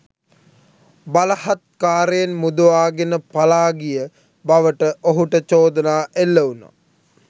බලහත්කාරයෙන් මුදවාගෙන පලා ගිය බවට ඔහුට චෝදනා එල්ල වුණා